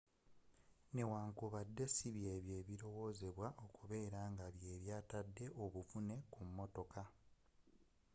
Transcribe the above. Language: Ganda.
newankubadde sibyebyo ebirowozebwa okubeera nga bye byatadde obuvune ku mmotoka